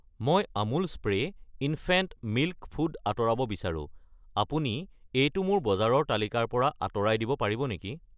মই Amul spray infant milk food আঁতৰাব বিচাৰো, আপুনি এইটো মোৰ বজাৰৰ তালিকাৰ পৰা আঁতৰাই দিব পাৰিব নেকি?